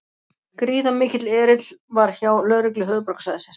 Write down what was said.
Gríðarmikill erill var hjá lögreglu höfuðborgarsvæðisins